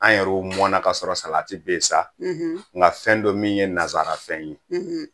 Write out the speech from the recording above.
An yɛrɛw mɔna kasɔrɔ salati bɛ yen sa nka fɛn don min ye nansara fɛn ye